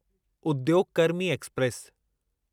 उद्योग कर्मी एक्सप्रेस